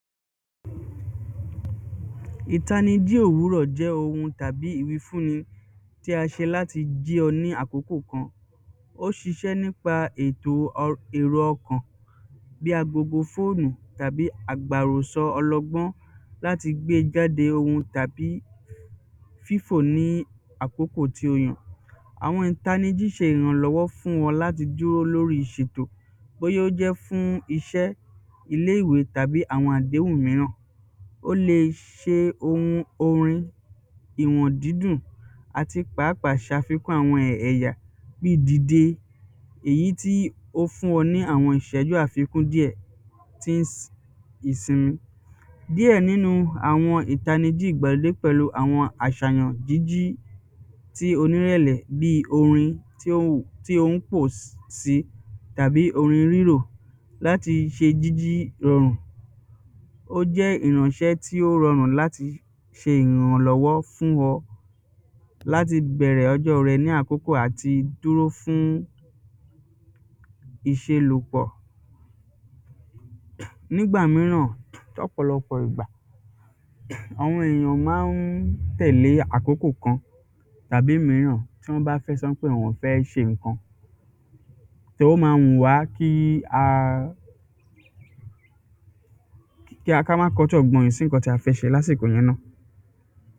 ìtanijí òwúrọ̀ jẹ́ ohun tàbí ìwífúnni tí a ṣe láti jí ọ ní àkókò kan ó ṣiṣẹ́ nípa ètò èrò ọkàn bí agogo fóònù tàbí àgbàràsọ ọlọgbọ́n láti gbe jáde ohun tàbí fífò ní àkókò to yàn àwọn ìtanijí ṣe ìrànlọ́wọ́ fún wọn láti dúró lórí ìṣètò bóyá ó jẹ́ fún iṣẹ́, ilé ìwé tàbí àwọn àdéhùn míràn o lè ṣe ohun orin ìwọ̀n dídùn àti pàápàá ṣàfikún àwọn ẹ̀yà bíi dìde èyí tí ó fún ọ ní àwọn iṣẹ́jú àfikún díẹ̀ tín ìsimi díẹ̀ nínú àwọn ìtanijí ìgbàlódé pẹ̀lú àwọn àsàyàn jíjí tí onírẹ̀lẹ̀ bí orin tí o ń pò sí tàbí orin rírò láti ṣe jíjí rọrùn ó jẹ́ ìránṣẹ́ tí ó rọrùn láti ṣe ìrànlọ́wọ́ fún ọ, láti bẹ̀rẹ̀ ọjọ́ rẹ ní àkókò àti dúró fún ìṣelòpọ̀ nígbà míràn ní ọ̀pọ̀lọpọ̀ ìgbà, àwọn ènìyàn ò máa ń tẹ̀lé àkókò kan tàbí míràn tí wọ́n bá fẹ́ sọ pé àwọn ò fẹ́ ṣe ǹkan ó ma wù wá kí a ká má kọtí ọ̀gborìn sí ǹkan tí a fẹ́ ṣe lásìkò yẹn náà.